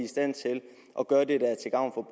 stand til at gøre det der er til gavn